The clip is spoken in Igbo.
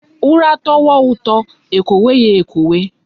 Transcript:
Ura towa uto ekwowe ya ekwowe